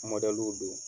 don